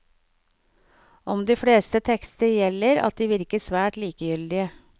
Om de fleste tekster gjelder at de virker svært likegyldige.